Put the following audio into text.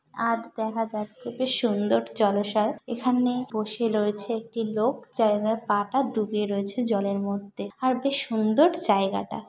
আর দেখা যাচ্ছে বেশ সুন্দর জলাশয়। এখানে বসে রয়েছে একটি লোক যা তার পা টা ডুবে রয়েছে জলের মধ্যে আর বেশ সুন্দর জায়গাটা।